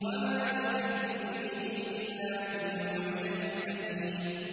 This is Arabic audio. وَمَا يُكَذِّبُ بِهِ إِلَّا كُلُّ مُعْتَدٍ أَثِيمٍ